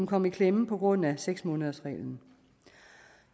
kommet i klemme på grund af seks månedersreglen